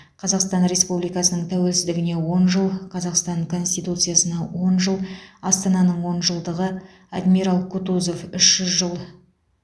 қазақстан республикасының тәуелсіздігіне он жыл қазақстан конституциясына он жыл астананың он жылдығы адмирал кутузов үш жүз жыл